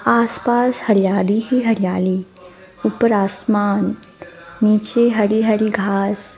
आसपास हरियाली ही हरियाली ऊपर आसमान नीचे हरी हरी घास --